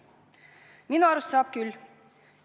Minu arust saab küll.